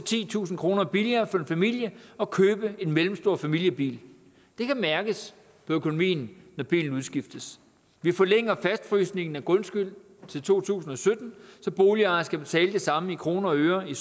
titusind kroner billigere for en familie at købe en mellemstor familiebil det kan mærkes på økonomien når bilen udskiftes vi forlænger fastfrysningen af grundskylden til to tusind og sytten så boligejere skal betale det samme i kroner og øre i